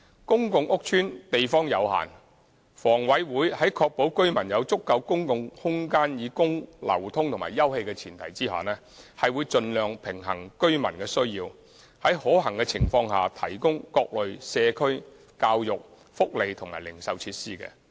公共屋邨地方有限，房委會在確保居民有足夠公共空間以供流通及休憩的前提下，會盡量平衡居民的需要，在可行情況下提供各類社區、教育、福利及零售設施。